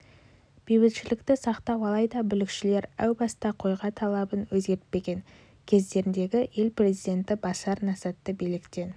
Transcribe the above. бейбітшілікті сақтау алайда бүлікшілер әу баста қойға талабын өзгертпеген көздегендері ел президенті башар асадты биліктен